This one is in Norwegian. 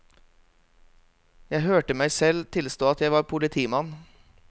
Jeg hørte meg selv tilstå at jeg var politimann.